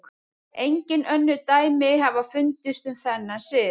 Engin önnur dæmi hafa fundist um þennan sið.